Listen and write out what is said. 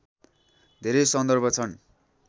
धेरै सन्दर्भ छन्